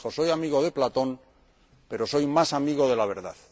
Dijo soy amigo de Platón, pero soy más amigo de la verdad.